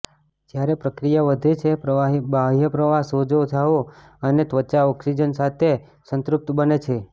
જ્યારે પ્રક્રિયા વધે છે પ્રવાહી બાહ્યપ્રવાહ સોજો જાઓ અને ત્વચા ઓક્સિજન સાથે સંતૃપ્ત બને છે